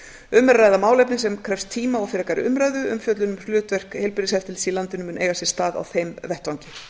um er að ræða málefni sem krefst tíma og frekari umræðu umfjöllun um hlutverk heilbrigðiseftirlits í landinu mun eiga sér stað á þeim vettvangi